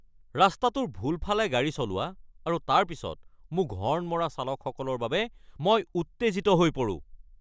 ৰাস্তাটোৰ ভুল ফালে গাড়ী চলোৱা আৰু তাৰ পিছত মোক হৰ্ণ মৰা চালকসকলৰ বাবে মই উত্তেজিত হৈ পৰোঁ।